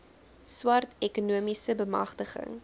swart ekonomiese bemagtiging